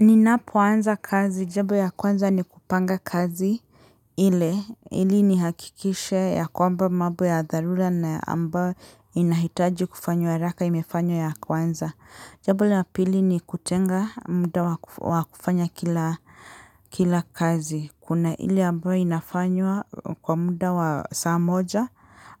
Ninapoanza kazi jambo ya kwanza ni kupanga kazi ile ili ni hakikishe ya kwamba mambo ya dharula na ambayo inahitaji kufanywa ya haraka imefanywa ya kwanza. Jambo la pili ni kutenga muda wa kufanya kila kazi kuna ile ambayo inafanywa kwa muda wa saa moja